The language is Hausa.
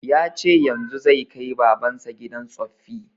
Ya ce yanzun zai kai baban sa gidan tsoffi